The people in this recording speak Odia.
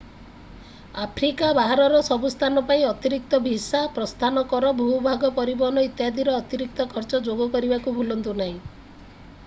ଆଫ୍ରିକା ବାହାରର ସବୁ ସ୍ଥାନ ପାଇଁ ଅତିରିକ୍ତ ଭିସା ପ୍ରସ୍ଥାନ କର ଭୂଭାଗ ପରିବହନ ଇତ୍ୟାଦିର ଅତିରିକ୍ତ ଖର୍ଚ୍ଚ ଯୋଗ କରିବାକୁ ଭୁଲନ୍ତୁ ନାହିଁ